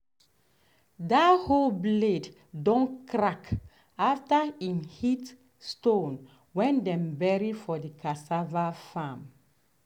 dat hoe blade don crack after em hit stone way dem bury for de cassava farm.